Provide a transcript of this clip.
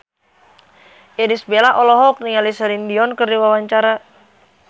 Irish Bella olohok ningali Celine Dion keur diwawancara